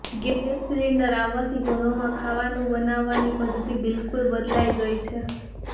gas cylinder આવવાથી ઘરોમાં ખાવાનું બનાવવાની પદ્ધતિ બિલકુલ બદલાઈ ગઈ છે